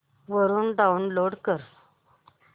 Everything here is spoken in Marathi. वरून डाऊनलोड कर